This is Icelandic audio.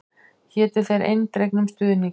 Hétu þér eindregnum stuðningi.